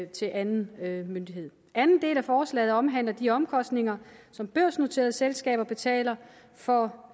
til anden myndighed anden del af forslaget omhandler de omkostninger som børsnoterede selskaber betaler for